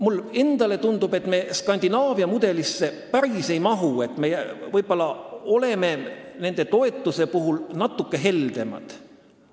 Mulle endale tundub, et me Skandinaavia mudelisse päris ei mahu, võib-olla oleme toetuse puhul natuke heldemad.